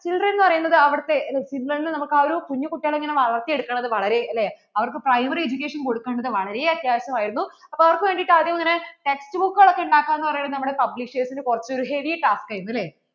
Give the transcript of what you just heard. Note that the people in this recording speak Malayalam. signal എന്ന് പറയുന്നത് അവിടുത്തെ signal നമുക്കു ആ ഒരു കുഞ്ഞു കുട്ടികളെ ഇങ്ങനെ വളർത്തി എടുക്കുന്നത് വളരെ അല്ലേ അവർക്കു primary education കൊടുക്കേണ്ടത് വളരെ അത്യാവശ്യം ആയിരുന്നു അപ്പോൾ അവർക്കു വേണ്ടിട്ട് ആദ്യം ഇങ്ങനെ text book കൾ ഒക്കെ ഉണ്ടാക്കുക എന്നു പറയുന്നത് നമ്മടെ publishers ന് കുറച്ചു ഒരു heavy task ആയിരുന്നു അല്ലേ